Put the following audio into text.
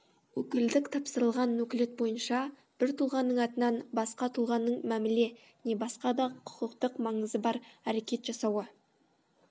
өкілдік тапсырылған өкілет бойынша бір тұлғаның атынан басқа тұлғаның мәміле не басқа да құқықтық маңызы бар әрекет жасауы